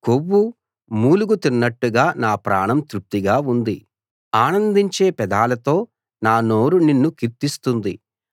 కొవ్వు మూలుగ తిన్నట్టుగా నా ప్రాణం తృప్తిగా ఉంది ఆనందించే పెదాలతో నా నోరు నిన్ను కీర్తిస్తుంది